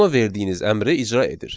Ona verdiyiniz əmri icra edir.